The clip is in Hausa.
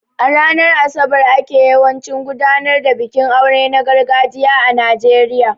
A ranar Asabar ne ake yawancin gudanar da bikin aure na gargajiya a Najeriya